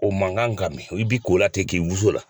O man kan ka mɛn i bi ko la ten k'i wusu o la.